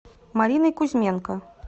мариной кузьменко